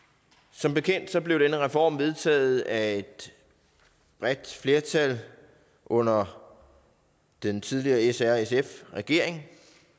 som bekendt blev denne reform vedtaget af et bredt flertal under den tidligere srsf regering